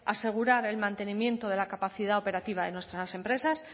asegurar el mantenimiento de la capacidad operativa de nuestras empresas